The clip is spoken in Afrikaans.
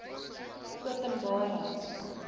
openbare